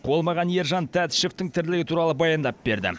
ол маған ержан тәтішевтің тірлігі туралы баяндап берді